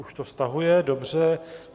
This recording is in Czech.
Už to stahuje, dobře.